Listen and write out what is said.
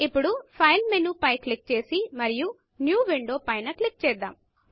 ఇప్పుడు file menu పై click చేసి మరియు న్యూ Windowన్యూ విండో పైన క్లిక్ చేద్దాము